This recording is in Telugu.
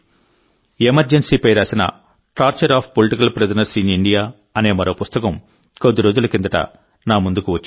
ఎమర్జెన్సీపై రాసిన torture of political prisoners in India అనే మరో పుస్తకం కొద్ది రోజుల కిందట నా ముందుకు వచ్చింది